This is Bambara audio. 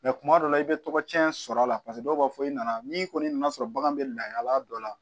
kuma dɔ la i bɛ tɔgɔcɛn sɔr'a la paseke dɔw b'a fɔ i nana n'i kɔni nana sɔrɔ bagan bɛ lahalaya dɔ la